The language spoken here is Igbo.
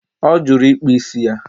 O juru ịkpụ ísì ya